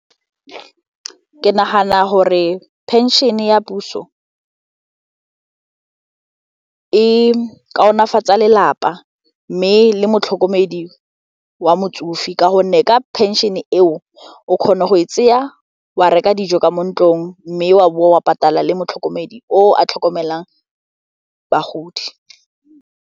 Ke nagana gore pension-e ya puso e kaonafatsa lelapa mme le motlhokomedi wa motsofe ka gonne ka phenšene eo o kgona go e tseya wa reka dijo ka mo ntlong mme wa bowa patala le motlhokomedi o a tlhokomelang bagodi.